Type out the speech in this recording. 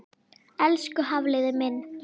Elsku Hafliði minn.